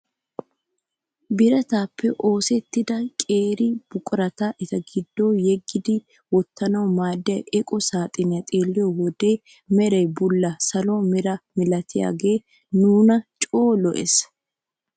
Birataappe osettida qeeri buqurata eta giddo yeggidi wottanawu maaddiyaa eqo saaxinee xeelliyoo wode meray bulla salo meraa milatiyaagee nuna coo lo"ees.